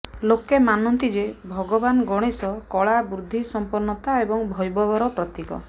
ଲୋକେ ମାନନ୍ତି ଯେ ଭଗବାନ ଗଣେଶ କଳା ବୁଦ୍ଧି ସମ୍ପନ୍ନତା ଏବଂ ବୈଭବର ପ୍ରତୀକ